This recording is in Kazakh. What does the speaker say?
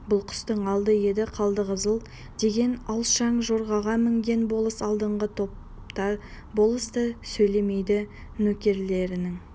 бұл қыстың алды еді қалдықызыл деген алшаң жорғаға мінген болыс алдыңғы топта болыс көп сөйлемейді нөкерлерінің